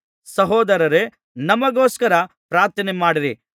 ಸಹೋದರರೇ ನಮಗೋಸ್ಕರ ಪ್ರಾರ್ಥನೆ ಮಾಡಿರಿ